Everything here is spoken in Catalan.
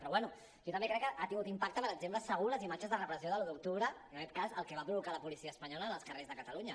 però bé jo també crec que ha tingut impacte per exemple segur les imatges de repressió de l’un d’octubre en aquest cas el que va provocar la policia espanyola en els carrers de catalunya